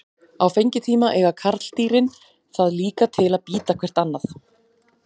Á fengitíma eiga karldýrin það líka til að bíta hvert annað.